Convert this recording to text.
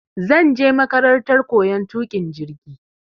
Zanje makarantar koyan tuƙin jirgi